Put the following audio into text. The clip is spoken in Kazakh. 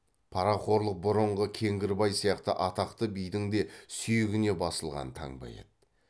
парақорлық бұрынғы кеңгірбай сияқты атақты бидің де сүйегіне басылған таңба еді